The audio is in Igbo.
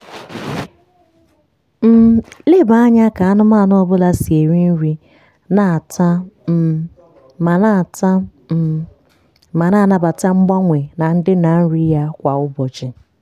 um leba anya ka anụmanụ ọ bụla si eri nri na-ata um ma na-ata um ma na-anabata mgbanwe na ndịna nri ya kwa ụbọchị.